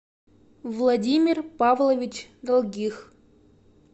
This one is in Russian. владимир павлович долгих